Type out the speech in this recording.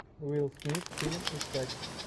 уилл смит фильм искать